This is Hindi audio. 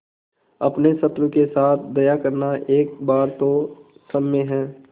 अपने शत्रु के साथ दया करना एक बार तो क्षम्य है